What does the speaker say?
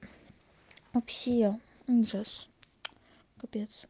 вообще ужас капец